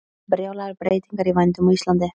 Brjálaðar breytingar í vændum á Íslandi